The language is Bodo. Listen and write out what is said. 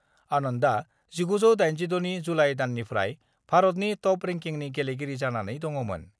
आनन्दआ 1986 नि जुलाइ दाननिफ्राय भारतनि टप रेंकिंनि गेलेगिरि जानानै दङमोन।